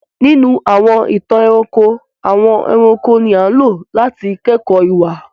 Ninu àwọn ìtan-ẹ̀ranko, àwọn ẹ̀ranko ni aǹlo làti kẹkọ iwa.